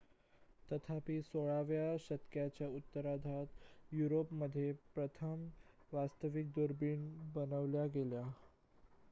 तथापि 16 व्या शतकाच्या उत्तरार्धात युरोपमध्ये प्रथम वास्तविक दुर्बिणी बनविल्या गेल्या